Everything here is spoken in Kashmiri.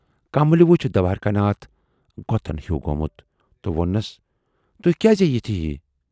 کملہِؔ وُچھ دوارِکا ؔناتھ غۅطن ہیو گومُت تہٕ وونُس"تُہۍ کیازِ یِتھٕے ہِوِۍ؟